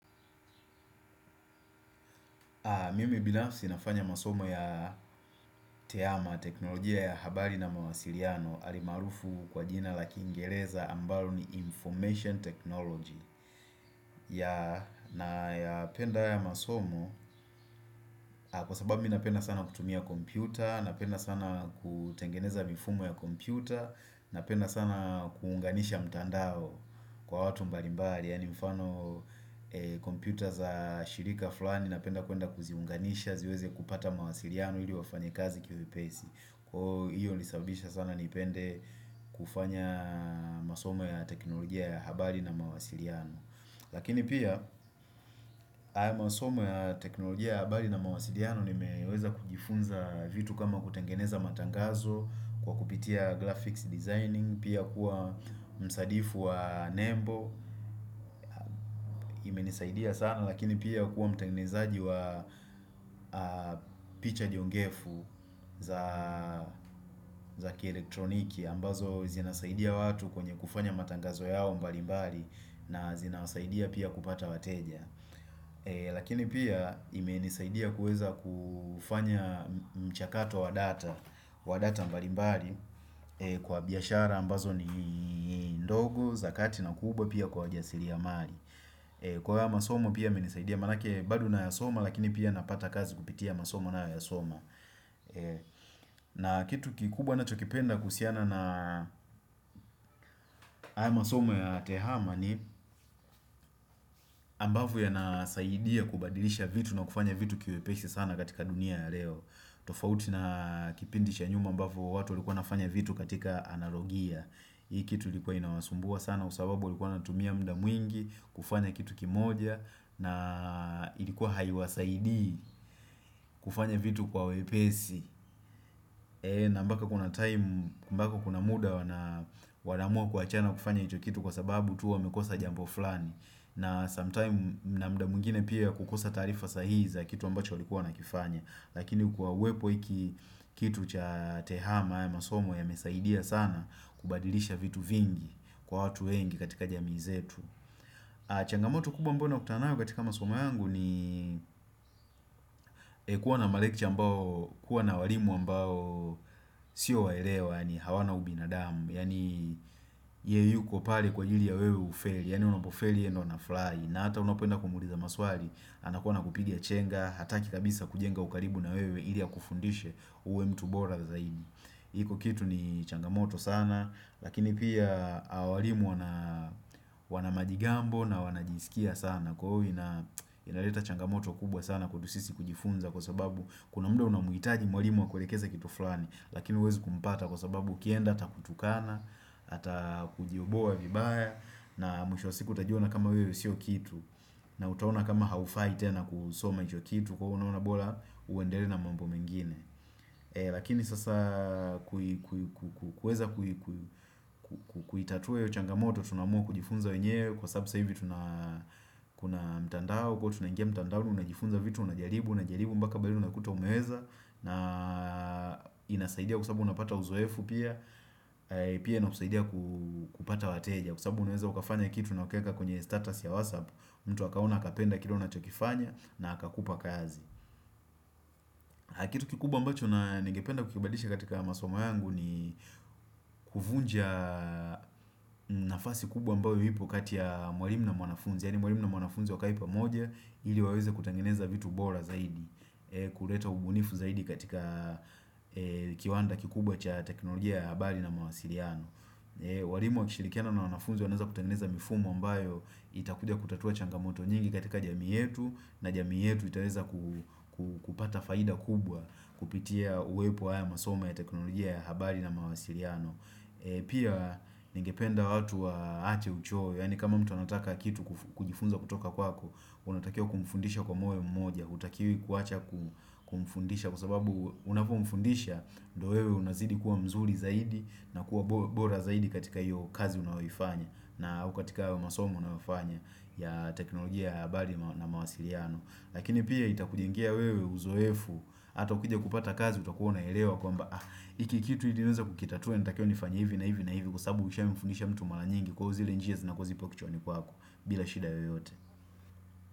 Mimi binafsi nafanya masomo ya teama teknolojia ya habari na mawasiliano alimaarufu kwa jina la kingereza ambalo ni information technology ya nayapenda haya masomo kwa sababu mi napenda sana kutumia kompyuta, napenda sana kutengeneza mifumo ya kompyuta, napenda sana kuunganisha mtandao kwa watu mbalimbali yaani mfano kompyuta za shirika fulani napenda kuenda kuziunganisha ziweze kupata mawasiliano ili wafanyikazi kiwepesi. Kwa hiyo hunisababisha sana nipende kufanya masomo ya teknolojia ya habari na mawasiliano. Lakini pia, hayo masomo ya teknolojia ya habari na mawasiliano nimeweza kujifunza vitu kama kutengeneza matangazo kwa kupitia graphics designing, pia kuwa msadifu wa Nembo imenisaidia sana lakini pia kuwa mtengenezaji wa picha jongefu za za kielektroniki ambazo zinasaidia watu kwenye kufanya matangazo yao mbali mbali na zinasaidia pia kupata wateja. Lakini pia imenisaidia kuweza kufanya mchakato wa data wa data mbali mbali kwa biashara ambazo ni ndogo za kati na kubwa pia kwa jasiri ya mali kwa haya masomo pia yamenisaidia manake bado nayasoma lakini pia napata kazi kupitia masoma nayoyaasoma na kitu kikubwa nachokipenda kuhusiana na haya masomo ya tehama ni ambavyo yanasaidia kubadilisha vitu na kufanya vitu kiwepesi sana katika dunia ya leo tofauti na kipindi cha nyuma ambavo watu walikuwa nafanya vitu katika analogia. Hii kitu ilikuwa inawasumbua sana sababu walikuwa wanatumia muda mwingi kufanya kitu kimoja na ilikuwa haiwasaidii kufanya vitu kwa wepesi na mpaka kuna time, mpaka kuna muda wanaamua kuachana kufanya hicho kitu kwa sababu tu wamekosa jambo fulani. Na sometime na muda mwingine pia kukosa taarifa sahihi za kitu ambacho walikuwa wanakifanya. Lakini kwa uwepo hiki kitu cha tehama haya masomo yamesaidia sana kubadilisha vitu vingi kwa watu wengi katika jamii zetu changamoto kubwa ambayo nakutana nayo katika masomo yangu ni kuwa na ma lecture ambao, kuwa na walimu ambao Sio waelewa, yaani hawana ubinadamu Yaani ye yuko pale kwa ajili ya wewe ufeli. Yani unapofeli ye ndo anafurahi. Na hata unapoenda kumuuliza maswali anakuwa anakuwa anakupiga chenga Hataki kabisa kujenga ukaribu na wewe ili akufundishe uwe mtu bora zaidi iko kitu ni changamoto sana Lakini pia walimu wana majigambo. Na wanajisikia sana Kwa hiyo inaleta changamoto kubwa sana kwetu sisi kujifunza kwa sababu Kuna mudo unamuhitaji mwalimu akulekeze kitu fulani Lakini huwezi kumpata kwa sababu ukienda atakutukana Atakujoboa vibaya. Na mwisho wa siku utajiona kama wewe sio kitu na utaona kama haufai tena kusoma hicho kitu. Kwa hiyo unaona bora uendelee na mambo mengine Lakini sasa kuweza kuitatua hiyo changamoto tunaamua kujifunza wenyewe Kwa sababu sasa hivi tuna kuna mtandao Kwa hiyo tunangia mtandao unajifunza vitu unajaribu, unajaribu mpaka pale unakuta umeweza na inasaidia kwa sababu unapata uzoefu pia. Pia inasaidia kupata wateja Kwa sababu unaweza ukafanya kitu na ukaeka kwenye status ya WhatsApp mtu akaona akapenda kile unachokifanya na akakupa kazi Kitu kikubwa ambacho na ningependa kukibadisha katika masomo yangu ni kuvunja nafasi kubwa ambayo ipo kati ya mwalimu na mwanafunzi. Yani mwalimu na mwanafunzi wakae pamoja ili waweze kutengeneza vitu bora zaidi kuleta ubunifu zaidi katika kiwanda kikubwa cha teknolojia ya habari na mwasiliano walimu wakishirikiana na mwanafunzi waneza kutengeneza mifumo ambayo Itakuja kutatua changamoto nyingi katika jamii yetu. Na jamii yetu itaweza kupata faida kubwa kupitia uwepo wa haya masomo ya teknolojia ya habari na mwasiliano Pia ningependa watu waache uchoyo Yaani kama mtu anataka kitu kujifunza kutoka kwako. Unatakiwa kumfundisha kwa moyo mmoja. Hutakiwi kuacha kumfundisha Kwa sababu unavyomfundisha ndo wewe unazidi kuwa mzuri zaidi na kuwa bora zaidi katika hiyo kazi unayoifanya na au katika masomo unayo fanya ya teknolojia ya habari na mawasiliano Lakini pia itakujengea wewe uzoefu hata ukija kupata kazi utakuwa unaelewa kwamba, hiki kitu ili niweze kukitatua natakiwa nifanye hivi na hivi na hivi kwa sababu ushamfundisha mtu mara nyingi kwa hivo zile njia zinakuwa zipo kichwani kwako bila shida yoyote.